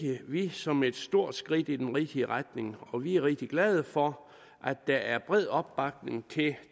vi som et stort skridt i den rigtige retning og vi er rigtig glade for at der er bred opbakning til